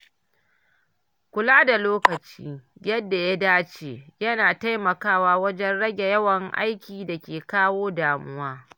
Kula da lokaci yadda ya dace, yana taimakawa wajen rage yawan aikin da ke kawo damuwa.